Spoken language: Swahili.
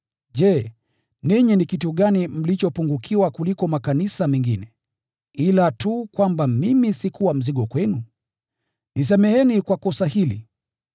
Je, ninyi ni kitu gani mlichopungukiwa kuliko makanisa mengine, ila tu kwamba mimi sikuwa mzigo kwenu? Nisameheni kwa kosa hili!